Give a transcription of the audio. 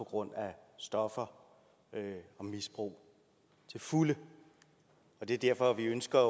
grund af stoffer og misbrug til fulde det er derfor vi ønsker at